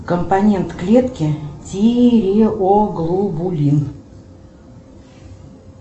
компонент клетки тиреоглобулин